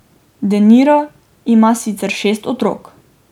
De Niro ima sicer šest otrok.